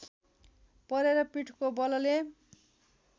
परेर पीठको बलले